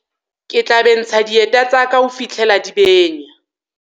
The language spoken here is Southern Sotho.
ke tla bentsha dieta tsa ka ho fihlela di benya